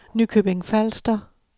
Nykøbing Falster